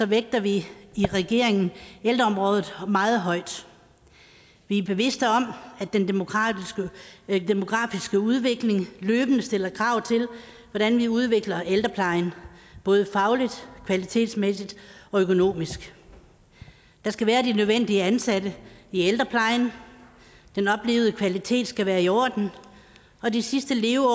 vægter vi i regeringen ældreområdet meget højt vi er bevidst om at den demografiske udvikling løbende stiller krav til hvordan vi udvikler ældreplejen både fagligt kvalitetsmæssigt og økonomisk der skal være de nødvendige ansatte i ældreplejen den oplevede kvalitet skal være i orden og de sidste leveår